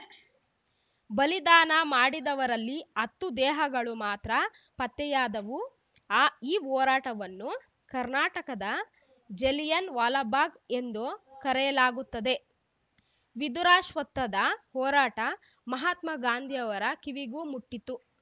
ಬಲಿದಾನ ಮಾಡಿದವರಲ್ಲಿ ಹತ್ತು ದೇಹಗಳು ಮಾತ್ರ ಪತ್ತೆಯಾದವು ಆ ಈ ಹೋರಾಟವನ್ನು ಕರ್ನಾಟಕದ ಜಲಿಯನ ವಾಲಾಬಾಗ್‌ ಎಂದು ಕರೆಯಲಾಗುತ್ತದೆ ವಿಧುರಾಶ್ವತ್ಥದ ಹೋರಾಟ ಮಹಾತ್ಮಾ ಗಾಂಧಿ ಅವರ ಕಿವಿಗೂ ಮುಟ್ಟಿತ್ತು